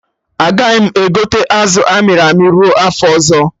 Agaghị m egote azụ amịrị amị ruo afọ ọzọ